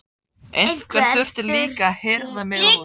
Einhver þurfti líka að hirða mig úr